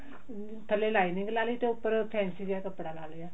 ਥੱਲੇ ਲਈਨਿੰਗ ਲਾਲੀ ਤੇ ਉੱਪਰ ਫੈਂਸੀ ਜਿਹਾ ਕੱਪੜਾ ਲਾ ਲਿਆ